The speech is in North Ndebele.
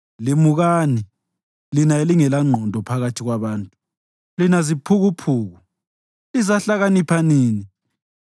Limukani, lina elingelangqondo phakathi kwabantu; lina ziphukuphuku, lizahlakanipha nini?